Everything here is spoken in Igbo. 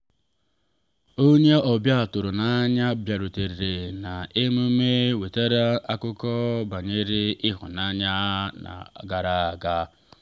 onye ọbịa tụrụ n’anya bịarutere n’emume wetara akụkọ banyere ịhụnanya ha gara aga.